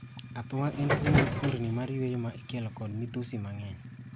Athung'a en tuwo mar fuondni mar yueyo ma ikelo ko midhusi mang'eny.